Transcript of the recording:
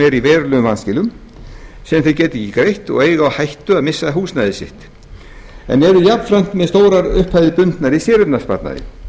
eru í verulegum vanskilum sem þeir geta ekki greitt og eiga á hættu að missa húsnæði sitt en eru jafnframt með stórar upphæðir bundnar í séreignarsparnaði